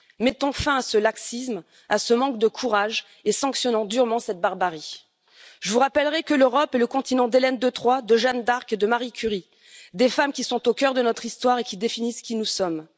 Mettons fin ce laxisme, à ce manque de courage, et sanctionnons durement cette barbarie. Je vous rappellerai que l'Europe est le continent d'Hélène de Troie, de Jeanne d'Arc et de Marie Curie, des femmes qui sont au cœur de notre histoire et qui définissent qui nous sommes.